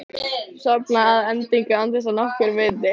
Sofna að endingu án þess að nokkur viti.